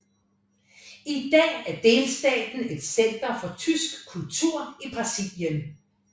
I dag er delstaten et center for tysk kultur i Brasilien